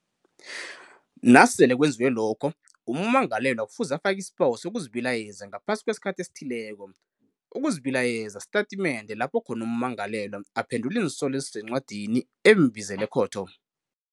Nasele kwenziwe lokho, ummangalelwa kufuze afake isibawo sokuzibilayeza ngaphasi kwesikhathi esithileko. Ukuzibilayeza sitatimende lapho khona ummangalelwa aphendula iinsolo ezisencwadini embizele ekhotho.